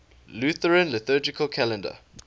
lutheran liturgical calendar